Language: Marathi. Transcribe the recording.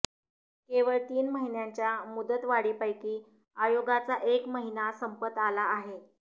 केवळ तीन महिन्यांच्या मुदतवाढीपैकी आयोगाचा एक महिना संपत आला आहे